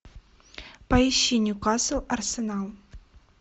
поищи ньюкасл арсенал